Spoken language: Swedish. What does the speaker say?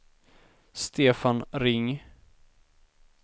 Stefan Ring